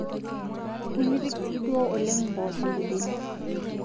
Nimipik sii duo oleng mpoosho irbenia